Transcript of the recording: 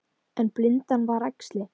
En blindan var æxli.